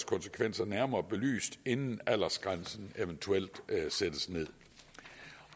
konsekvenser nærmere belyst inden aldersgrænsen eventuelt sættes nederst